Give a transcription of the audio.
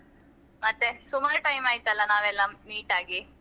ಮತ್ತೆ ಸುಮಾರ್ time ಆಯ್ತಲ್ಲ ನಾವೆಲ್ಲ meet ಆಗಿ.